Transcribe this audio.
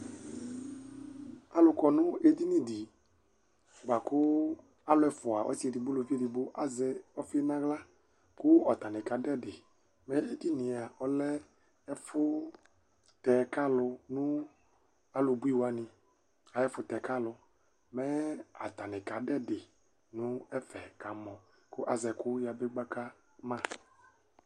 Alu kɔ nu edini di La ku alu ɛfua ɔsi edigbo uluvi edigbo azɛ ɔfi nu aɣla Ku atani kadu ɛdi Mɛ edini yɛa ɔlɛ ɛfu ɔtɛ ku alu nu ɔlubuiwani ayɛfu tɛ ku alu mɛ atani kadu ɛdi nu ɛfɛ kamɔ ku azɛ ɛkuyabegbakama